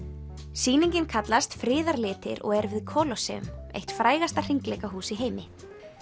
sýningin kallast Friðarlitir og er við eitt frægasta hringleikahús í heimi